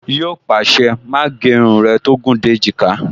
Yíò pàṣẹ, "Má gé irun rẹ tó gùn dé èjìká"